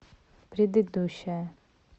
предыдущая